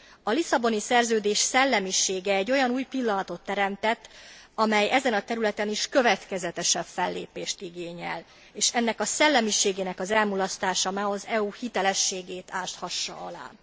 A Lisszaboni Szerződés szellemisége egy olyan új pillanatot teremtett, amely ezen a területen is következetesebb fellépést igényel, és ennek a szellemiségnek az elmulasztása ne az EU hitelességét áshassa alá.